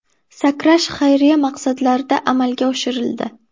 Sakrash xayriya maqsadlarida amalga oshirildi.